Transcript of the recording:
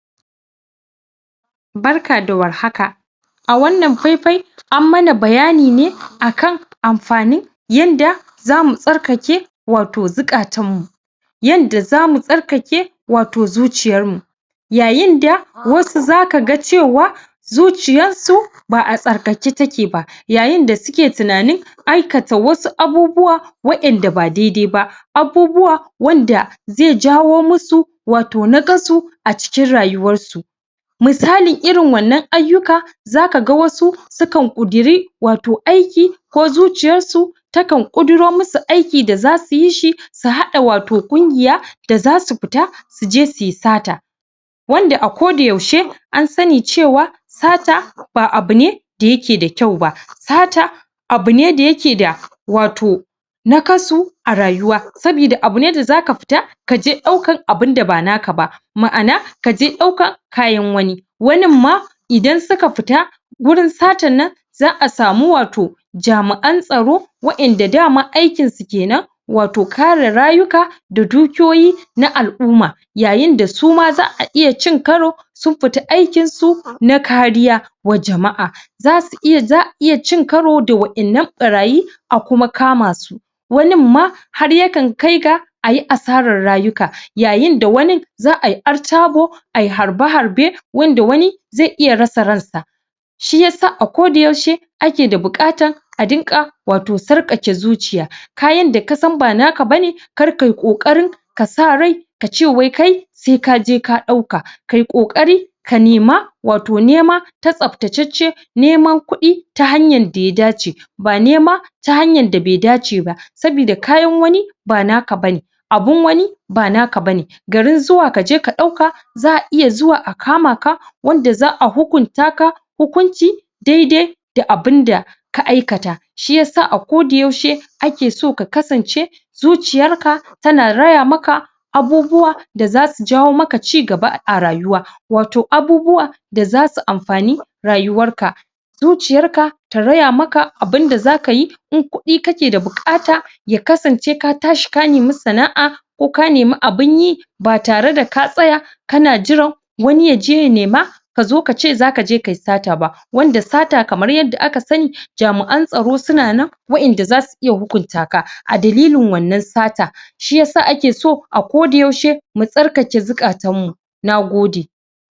barka da war haka a wannan ƙwaikwai an mana bayani ne akan amfani yanda zamu sarkake wato zukatanmu yanda zamu sarkake wato zuciyar mu yayin da wasu zaka ga cewa zuciyar su ba'a sarkake take ba yayin da suke tunanin aikata wasu abubuwa wa'in da daidai ba abubuwa wanda zai jawo musu wato nakasu a ciki rayuwansu misali irin wannan ayyuka zaka ga wasu su kan ƙudiri wata aiki ko zuciyar su ta kan ƙuduro musu aiki da zau yi shi su haɗa wato kungiya da zasu fita suje suyi sata wanda a ko da yaushe an sani cewa sata ba abune da yake da ƙyau ba sata abune da yake da wato nakasu a rayuwa sabida abune da zaka fita kaje daukan abun da ba naka ba ma'ana kaje daukan kayan wani wanin ma idan suka fita gurin satan nan za'a samu wato jami'an saro wadan da dama aikin su kenan wato kare rayuka da dukoki na alumma yayin da suma za'a iya cin karo sun fita aikin su na kariya wa jama'a zasu iya cin karo da wadannan barayi a kuma kama su wanin ma yakan iya kai ga a samu asaran rayuka yayin da wanin za'ayi artabo ayi harbaharbe wanda wani zai iya rasa ransa shiyasa a koda yaushe ake bukata adinga wato sarkake zuciya kayan da kasan ba naka bane ƙarka yi kokarin ka sa rai ka ce wai kai sai kaje ka dauka kayi kokari ka nema wato nema ta tsaftatace neman kudi ta hanyan da ya dace ba nema ta hanyan da bai dace ba sabida kayan wani ba naka bane abun wani ba nake bane garin zuwa kaje ka dauka za'a iya kama ka wanda za'a hukunta ka hukunci daidai da abunda ka aikata shiyasa da ko da yaushe ake so ka kasance zuciƴar ka ta raya maka abubuwa dazasu jawo maka cigaba a rayuwa wato abubuwa da zasu amfane rayuwan ka zuciƴar ka ta raya maka abunda zakayi in kudi kake da buƙata ya kasance ka tashi ka nimi sana'a ka nimi abunyi ba tare da ka tsaya kana jiran wani yaje ya nema kazo ka ce zaka je kayi sata ba wanda sata kamar yanda aka sani jami'an saro sunan wadanda zasu iya hukuntaka dalilin wannan sata shiyasa akeso a ko da yaushe mu sarkace zukatan mu nagode